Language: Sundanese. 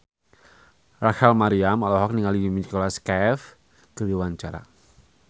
Rachel Maryam olohok ningali Nicholas Cafe keur diwawancara